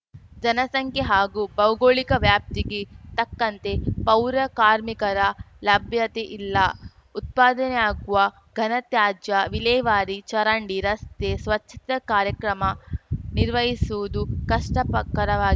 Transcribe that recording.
ಜನಸಂಖ್ಯೆ ಹಾಗೂ ಭೌಗೋಳಿಕ ವ್ಯಾಪ್ತಿಗೆ ತಕ್ಕಂತೆ ಪೌರ ಕಾರ್ಮಿಕರ ಲಭ್ಯತೆ ಇಲ್ಲ ಉತ್ಪದನೆಯಾಗುವ ಘನತ್ಯಾಜ್ಯ ವಿಲೇವಾರಿ ಚರಂಡಿ ರಸ್ತೆ ಸ್ವಚ್ಚತೆ ಕಾರ್ಯಕ್ರಮ ನಿರ್ವಹಿಸುವುದು ಕಷ್ಟಪ ಕರವಾ